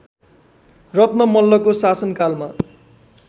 रत्न मल्लको शासनकालमा